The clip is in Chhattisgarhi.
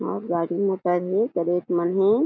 अउ गाड़ी मोटर हे करेट मन हे ।